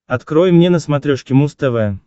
открой мне на смотрешке муз тв